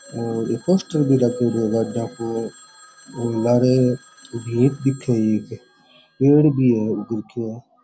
और एक पोस्टर भी लागेड़ो है गाड़ा को और लारे पेड़ भी है उग रखया।